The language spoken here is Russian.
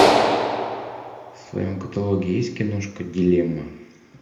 в своем каталоге есть киношка дилемма